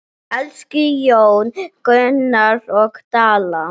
Elsku hjón, Gunnar og Dalla.